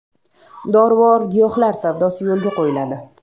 Dorivor giyohlar savdosi yo‘lga qo‘yiladi.